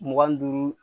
Mugan ni duuru